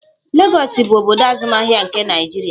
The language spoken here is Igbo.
Lagọs bụ obodo azụmahịa nke Naịjirịa.